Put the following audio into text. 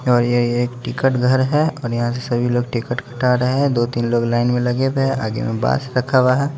और ये एक टिकट घर है और यहां से सभी लोग टिकट हटा रहे हैं दो-तीन लोग लाइन में लगे हुए हैं आगे में बस रखा हुआ है।